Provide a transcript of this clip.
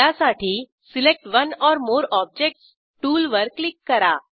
त्यासाठी select one or more objects टूलवर click करा